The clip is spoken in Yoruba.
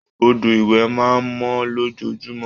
Odò ìwẹ̀ máa mọ́ lójoojúmọ́